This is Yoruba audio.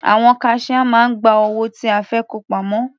Àwọn kaṣíá máa ń gba owó tí a fẹ́ kó pamọ́.